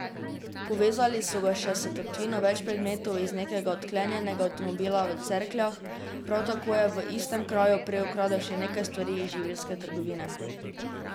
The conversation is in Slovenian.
Povezali so ga še s tatvino več predmetov iz nekega odklenjenega avtomobila v Cerkljah, prav tako je v istem kraju prej ukradel še nekaj stvari iz živilske trgovine.